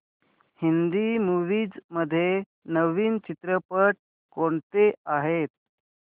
Hindi movies मध्ये नवीन चित्रपट कोणते आहेत